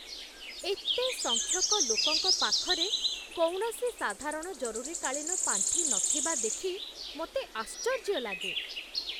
ଏତେ ସଂଖ୍ୟକ ଲୋକଙ୍କ ପାଖରେ କୌଣସି ସାଧାରଣ ଜରୁରୀକାଳୀନ ପାଣ୍ଠି ନଥିବା ଦେଖି ମୋତେ ଆଶ୍ଚର୍ଯ୍ୟ ଲାଗେ।